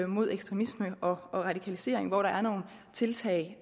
mod ekstremisme og radikalisering hvor der er nogle tiltag